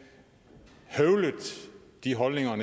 høvlet de holdninger